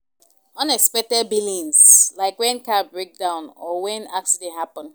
Unexpected billings like when car breakdown or when accident happen